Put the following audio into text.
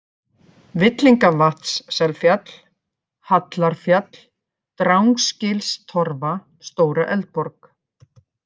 Villingavatns-Selfjall, Hallarfjall, Drangsgilstorfa, Stóra-Eldborg